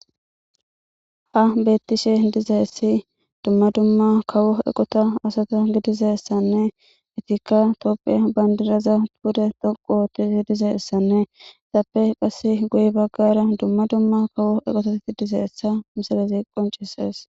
ha bettishe dizeessi dumma dumma kawo eqota asata gidizessanne itikka topphiya bandiraza pude toqu oottizi dizeeessanne itappe qass guy baggara dumma dumma kawo eqotati dizeessa misalezi qoncisees